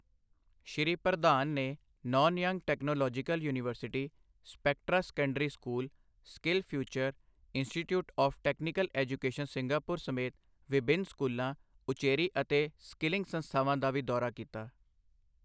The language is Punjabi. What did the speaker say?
ਸ਼੍ਰੀ ਪ੍ਰਧਾਨ ਨੇ Nanyang Technological University, Spectra Secondary School, Skill Future, Institute of Technical Education Singapore ਸਮੇਤ ਵਿਭਿੰਨ ਸਕੂਲਾਂ, ਉੱਚੇਰੀ ਅਤੇ ਸਕਿੱਲਿੰਗ ਸੰਸਥਾਵਾਂ ਦਾ ਵੀ ਦੌਰਾ ਕੀਤਾ।